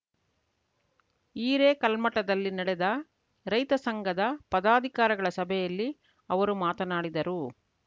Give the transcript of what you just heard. ಹಿರೇಕಲ್ಮಠದಲ್ಲಿ ನಡೆದ ರೈತ ಸಂಘದ ಪದಾಧಿಕಾರಿಗಳ ಸಭೆಯಲ್ಲಿ ಅವರು ಮಾತನಾಡಿದರು